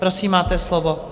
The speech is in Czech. Prosím, máte slovo.